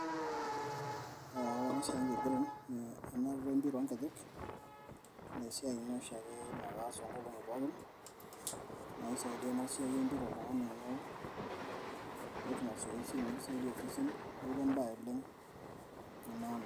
Ee ore enkiran, ena empira ongejek na kaas oshiake tongolongi pookin ,na keisaidia enasiai empira oltungani amu ketum masoesi neaku embae oleng e maana.